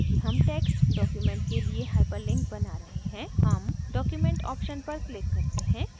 चूँकि हम text document के लिए hyperlink बना रहे हैं हम document option पर click करते हैं